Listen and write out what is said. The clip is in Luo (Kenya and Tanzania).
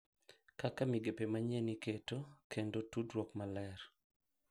Kaka migepe manyien iketo, kendo tudruok maler